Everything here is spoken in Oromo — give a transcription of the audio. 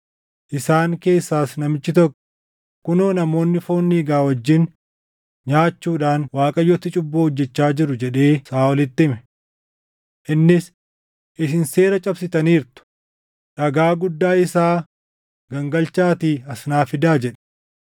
Isaan keessaas namichi tokko, “Kunoo namoonni foon dhiiga wajjin nyaachuudhaan Waaqayyotti cubbuu hojjechaa jiru” jedhee Saaʼolitti hime. Innis, “Isin seera cabsitaniirtu! Dhagaa guddaa isaa gangalchaatii as naa fidaa” jedhe.